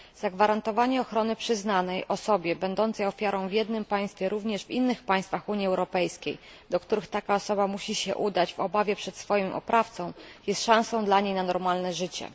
Zagwarantowanie, że ochrona przyznana osobie będącej ofiarą w jednym państwie będzie obowiązywać również w innych państwach Unii Europejskiej, do których taka osoba musi się udać w obawie przed swoim oprawcą, jest szansą dla niej na normalne życie.